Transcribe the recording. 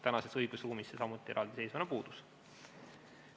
Tänases õigusruumis see samuti eraldiseisvana puudub.